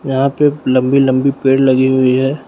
यहां पे लंबी लंबी पेड़ लगी हुई है।